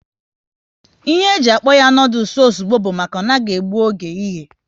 Ihe e ji akpọ ya noodules ozugbo bụ maka na ọ naghị egbu oge ịye